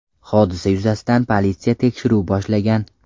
Hodisa yuzasidan politsiya tekshiruv boshlagan.